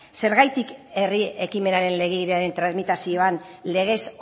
zergatik herri ekimenaren legebidearen tramitazioan legez